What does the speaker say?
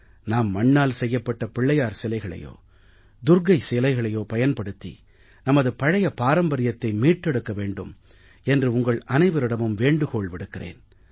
நாம் மண்ணால் செய்யப்பட்ட பிள்ளையார் சிலைகளையோ துர்க்கா சிலைகளையோ பயன்படுத்தி நமது பழைய பாரம்பர்யத்தை மீட்டெடுக்க வேண்டும் என்று உங்கள் அனைவரிடமும் வேண்டுகோள் விடுக்கிறேன்